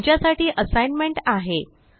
तुमच्यासाठी असाइनमेंट आहे